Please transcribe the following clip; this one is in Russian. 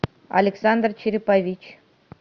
александр черепович